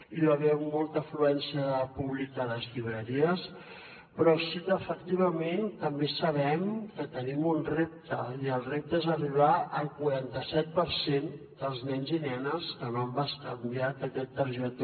hi va haver molta afluència de públic a les llibreries però sí que efectivament també sabem que tenim un repte i el repte és arribar al quaranta set per cent dels nens i nenes que no han bescanviat aquesta targeta